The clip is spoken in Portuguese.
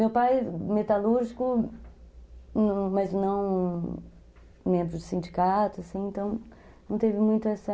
Meu pai, metalúrgico, mas não... Membro de sindicato, assim, então... Não teve muito essa...